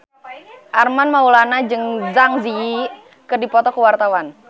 Armand Maulana jeung Zang Zi Yi keur dipoto ku wartawan